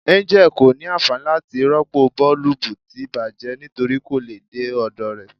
Angel ko ni anfani lati ropo boolubu ti bajẹ nitori ko le de ọdọ rẹ